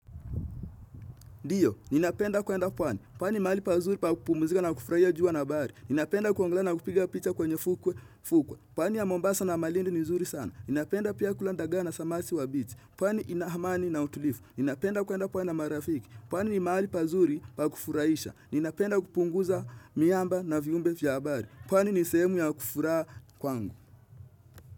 Diyo, ninapenda kuenda pwani. Pwani mahali pazuri pa kupumuzika na kufurahia jua na bahari. Ninapenda kuangalia na kupiga picha kwenye fukwa. Pwani ya mombasa na malindi ni zuri sana. Ninapenda pia kulanda gana samasi wa biti. Pwani inahamani na utulifu. Ninapenda kuenda pwani na marafiki. Pwani ni mahali pazuri pa kufurahisha. Ninapenda kupunguza miamba na viumbe vya habari. Pwani ni sehemu ya kufuraha kwangu.